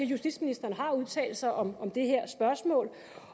justitsministeren har udtalt sig om det her spørgsmål